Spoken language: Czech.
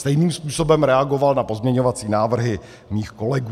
Stejným způsobem reagoval na pozměňovací návrhy mých kolegů.